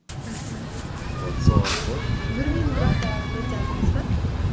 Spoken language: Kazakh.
мхм вот сол арқылы бір минут бірақ та өте аз емес пе